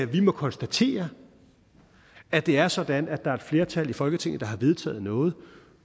vi må konstatere at det er sådan at der er et flertal i folketinget der har vedtaget noget